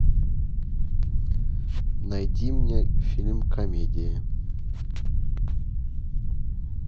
найди мне фильм комедия